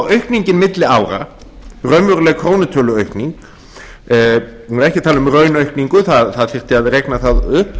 aukningin milli ára raunveruleg krónutöluaukning við erum ekki að tala um raunaukningu það þyrfti að reikna það upp